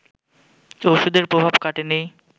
ওষুধের প্রভাব কাটেনি